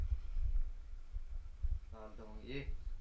चालतं मग ये.